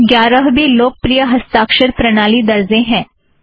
दस या ग्यारह भी लोकप्रिय हस्ताक्षर प्रणाली दरजें हैं